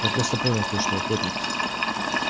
да просто понял кое-что охотник